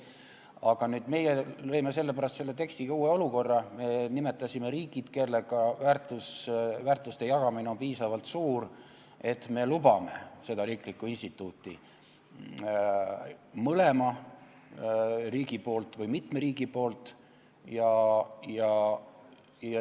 Aga nüüd meie lõime sellepärast selle tekstiga uue olukorra, me nimetasime riigid, kellega me jagame piisavalt väärtusi, et me lubame seda riiklikku instituuti mõlema riigi poolt või mitme riigi poolt.